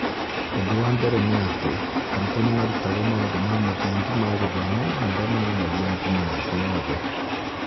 Ũndũ wa mbere nĩ atĩ, arutwo nĩ marutagwo maũndũ ma mũthingi ma gĩthomo marĩa monanagia ngumo ya thĩ yothe.